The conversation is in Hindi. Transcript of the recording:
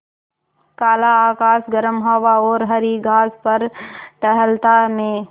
काला आकाश गर्म हवा और हरी घास पर टहलता मैं